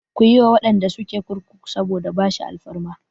Ku yi wa waɗanda suke kurkuku saboda bashi alfarma!